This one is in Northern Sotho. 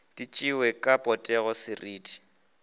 di tšewe ka potego seriti